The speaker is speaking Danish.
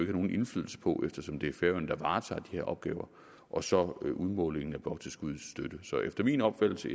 har nogen indflydelse på eftersom det er færøerne der varetager de her opgaver og så udmålingen af bloktilskudsstøtten så der er efter min opfattelse